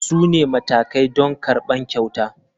Su ne matakai don karɓar kyauta.